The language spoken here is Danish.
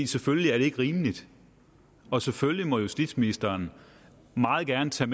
selvfølgelig er det ikke rimeligt og selvfølgelig må justitsministeren meget gerne tage